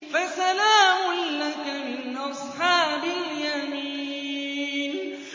فَسَلَامٌ لَّكَ مِنْ أَصْحَابِ الْيَمِينِ